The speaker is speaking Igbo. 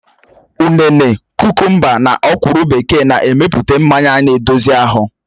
Ụnene, kukumba na ọ̀kwụ́rụ́ bekee n emepụta mmanya na-edozi ahụ